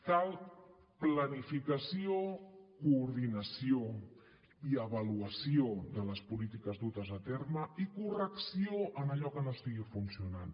cal planificació coordinació i avaluació de les polítiques dutes a terme i correcció en allò que no estigui funcionant